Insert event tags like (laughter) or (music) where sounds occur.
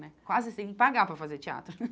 Né Quase que você tem que pagar para fazer teatro. (laughs)